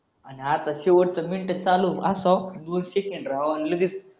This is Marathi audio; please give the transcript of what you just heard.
आणि आता शेवटचं मिनटं चालू असावं दोन सेकंड राहावं आणि लगेच